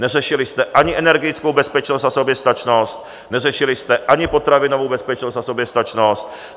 Neřešili jste ani energetickou bezpečnost a soběstačnost, neřešili jste ani potravinovou bezpečnost a soběstačnost.